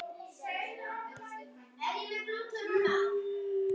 Er bara leiksoppur eins og